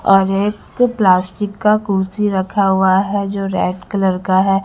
और एक प्लास्टिक का कुर्सी रखा हुआ है जो रेड कलर का है।